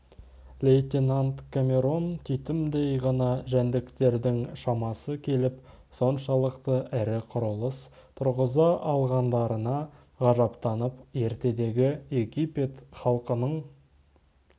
лейтенант камерон титімдей ғана жәндіктердің шамасы келіп соншалықты ірі құрылыс тұрғыза алғандарына ғажаптанып ертедегі египет халқының